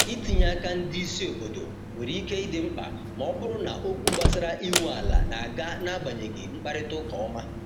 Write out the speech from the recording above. itinye aka ndị isi obodo nwere ike idi mkpa ma ọ bụrụ na okwu gbasara inwe ala n'aga na agbanyeghị mkparịta ụka ọma